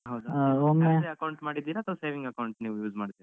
ಹೌದ salary account ಮಾಡಿದ್ದೀರಾ ಅಥ್ವಾ saving account ನೀವ್ use ಮಾಡ್ತಿರಾ?